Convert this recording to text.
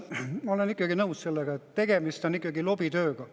Ma olen nõus sellega, et tegemist on ikkagi lobitööga.